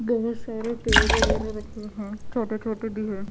बहुत सारे पेड़ वगैरह रखे हैं छोटे छोटे भी हैं।